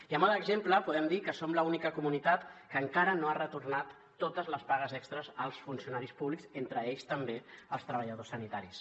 i a mode d’exemple podem dir que som l’única comunitat que encara no ha retornat totes les pagues extres als funcionaris públics entre ells també els treballadors sanitaris